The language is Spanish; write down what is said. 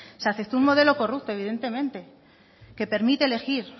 se aceptó un modelo corrupto evidentemente que permite elegir